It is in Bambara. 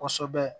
Kɔsɛbɛ